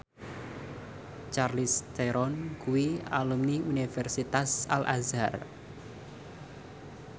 Charlize Theron kuwi alumni Universitas Al Azhar